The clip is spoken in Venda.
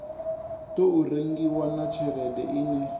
tou rengiwa na tshelede ine